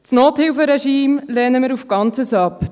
Das Nothilferegime lehnen wir als Ganzes ab;